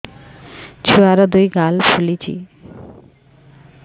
ଛୁଆର୍ ଦୁଇ ଗାଲ ଫୁଲିଚି